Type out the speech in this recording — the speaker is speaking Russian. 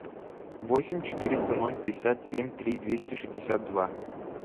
восемь четыреста ноль пятьдесят семь три двести шестьдесят два